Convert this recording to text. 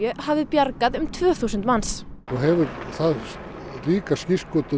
hafi bjargað um tvö þúsund manns og hefur það ríka skírskotun